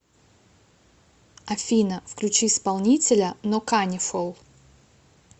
афина включи исполнителя ноканифол